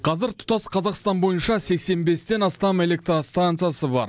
қазір тұтас қазақстан бойынша сексен бестен астам электростанциясы бар